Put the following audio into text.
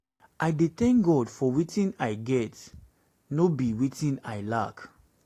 i dey tank god for wetin i get no i get no be wetin i lack